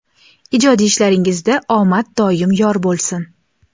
Ijodiy ishlaringizda omad doim yor bo‘lsin.